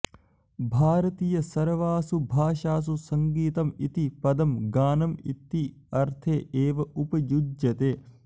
भारतीयसर्वासु भाषासु सङ्गीतम् इति पदं गानम् इति अर्थे एव उपयुज्यते